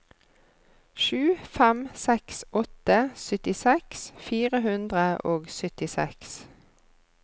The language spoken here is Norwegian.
sju fem seks åtte syttiseks fire hundre og syttiseks